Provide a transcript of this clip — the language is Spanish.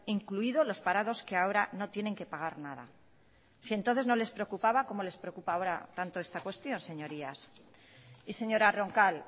incluido los parados que ahora no tienen que pagar nada si entonces no les preocupaba como les preocupa ahora tanto esta cuestión señorías y señora roncal